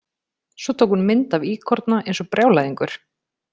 Svo tók hún mynd af íkorna eins og brjálæðingur.